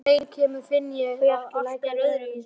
Og þegar heim kemur finn ég að allt er öðruvísi.